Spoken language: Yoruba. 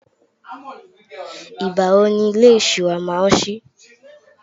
igbawo ni ilé ìṣura ma n sí